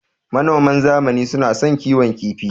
Manoman zamani suna son kiwon kifi.